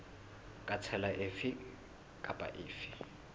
ka tsela efe kapa efe